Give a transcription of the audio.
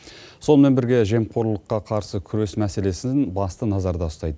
сонымен бірге жемқорлыққа қарсы күрес мәселесін басты назарда ұстайды